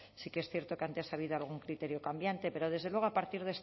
sí que es cierto que antes ha habido algún criterio cambiante pero desde luego a partir